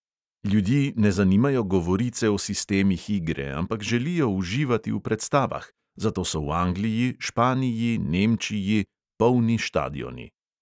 Ljudi ne zanimajo govorice o sistemih igre, ampak želijo uživati v predstavah, zato so v angliji, španiji, nemčiji ... polni štadioni.